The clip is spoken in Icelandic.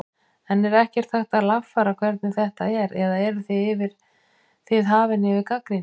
En er ekkert hægt að lagfæra hvernig þetta er eða eruð þið hafin yfir gagnrýni?